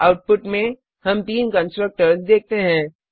output में हम तीन कंस्ट्रक्टर्स देखते हैं